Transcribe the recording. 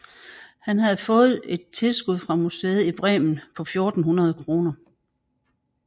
Han havde fået et tilskud fra museet i Bremen på 1400 kr